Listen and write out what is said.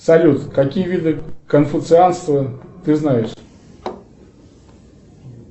салют какие виды конфуцианства ты знаешь